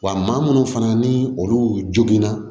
Wa maa munnu fana ni olu joginna